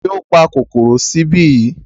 Tani ó pa kòkòrò sí ibí?